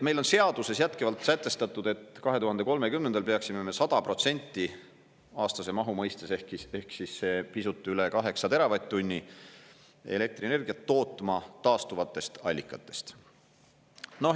Meil on seaduses jätkuvalt sätestatud, et 2030. aastal peaksime me 100% aastase mahu mõistes, ehk siis see pisut üle 8 teravatt-tunni elektrienergiat tootma taastuvatest allikatest.